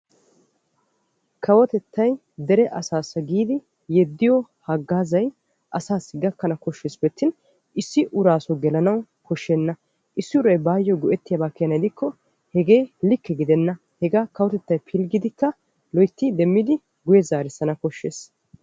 Kawotettay deree asaassa giidi yeddidobawu deree asaa gakkana kosheesippe attin issi asi go'ettana koshes. Hagaa kawotettay guye asaassi zaarisanna koshees.